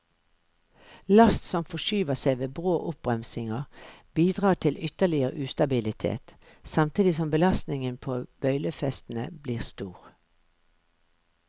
Last som forskyver seg ved brå oppbremsinger bidrar til ytterligere ustabilitet, samtidig som belastningen på bøylefestene blir stor.